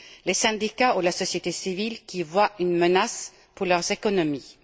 les syndicats et la société civile, qui y voient une menace pour leurs économies.